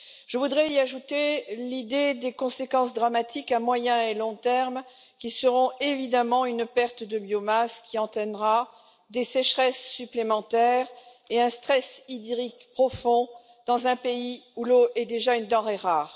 Je voudrais y ajouter l'idée des conséquences dramatiques à moyen et long terme qui seront évidemment une perte de biomasse qui entraînera des sécheresses supplémentaires et un stress hydrique profond dans un pays où l'eau est déjà une denrée rare.